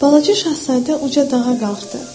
Balaca Şahzadə uca dağa qalxdı.